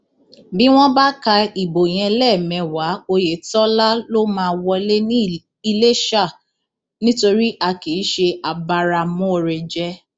bí wọn bá ka ìbò yẹn lẹẹmẹwàá ọyẹtọlá ló máa wọlé ní iléṣà nítorí a kì í ṣe abáramọọrẹjẹ